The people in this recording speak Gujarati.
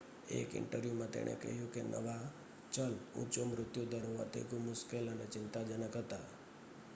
"એક ઇન્ટરવ્યુ માં તેણે કહ્યું કે નવા ચલ "ઊંચો મૃત્યુ દર હોવાથી ખૂબ મુશ્કેલ અને ચિંતાજનક" હતા.